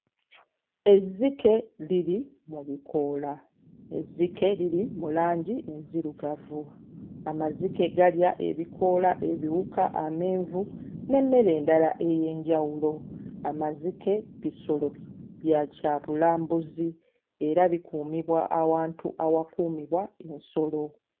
Ezzike liri mu bikoola. Ezzike liri mu langi enzirugavu. Amazike galya ebikoola, ebiwuka, amenvu n'emmere endala ey'enjawulo. Amazike bisolo bya kyabulambuzi era bikuumibwa awantu awakuumibwa ensolo.